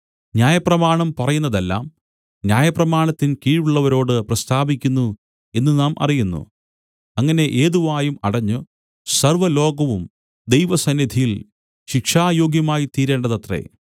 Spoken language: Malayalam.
ന്യായപ്രമാണം പറയുന്നതെല്ലാം ന്യായപ്രമാണത്തിൻ കീഴുള്ളവരോട് പ്രസ്താവിക്കുന്നു എന്നു നാം അറിയുന്നു അങ്ങനെ ഏത് വായും അടഞ്ഞു സർവ്വലോകവും ദൈവസന്നിധിയിൽ ശിക്ഷായോഗ്യമായിത്തീരേണ്ടതത്രേ